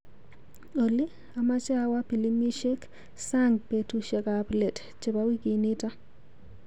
Olly, amache awo pilimisiekap sang betushekap let chebo wikinito.